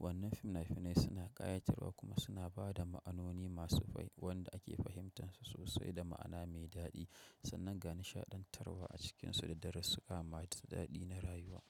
Wannan fina-finai suna ƙayatarwa kuma suna ba da ma'anoni masu rai wanda ake fahimtansu sosai da ma'ana mai daɗi. Sannan ga nishaɗantarwa a cikinsu da daru sussuka mata daɗi na rayuwa.